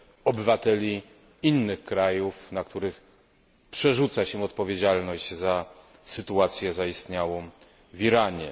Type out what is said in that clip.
obywateli innych krajów, na których przerzuca się odpowiedzialność za sytuację zaistniałą w Iranie.